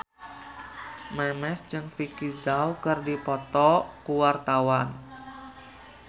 Memes jeung Vicki Zao keur dipoto ku wartawan